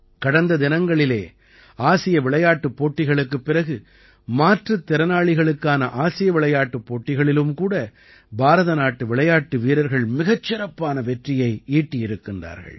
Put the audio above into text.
கடந்த தினங்களிலே ஆசிய விளையாட்டுப் போட்டிகளுக்குப் பிறகு மாற்றுத் திறனாளிகளுக்கான ஆசிய விளையாட்டுப் போட்டிகளிலும் கூட பாரத நாட்டு விளையாட்டு வீரர்கள் மிகச் சிறப்பான வெற்றியை ஈட்டியிருக்கிறார்கள்